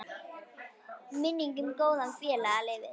Minning um góðan félaga lifir.